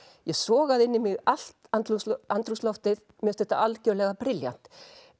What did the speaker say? ég sogaði inn í mig allt andrúmsloftið andrúmsloftið mér finnst þetta algjörlega brilljant